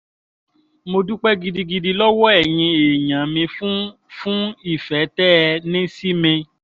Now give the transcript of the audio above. mo dúpẹ́ gidigidi lọ́wọ́ ẹ̀yin èèyàn mi fún fún ìfẹ́ tẹ́ ẹ ní sí mi